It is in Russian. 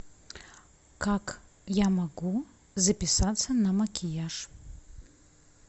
как я могу записаться на макияж